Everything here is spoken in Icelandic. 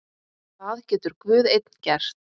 Það getur Guð einn gert.